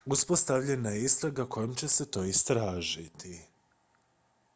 uspostavljena je istraga kojom će se to istražiti